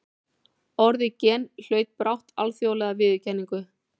Orðið gen hlaut brátt alþjóðlega viðurkenningu.